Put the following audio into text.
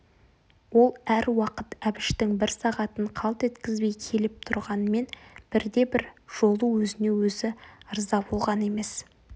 ол әр уақыт әбіштің бір сағатын қалт еткізбей келіп тұрғанмен бірде-бір жолы өзіне өзі ырза болған емес